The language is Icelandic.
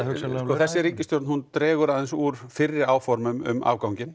þessi ríkisstjórn dregur aðeins úr fyrri áhorfum um afganginn